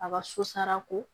A ka susara ko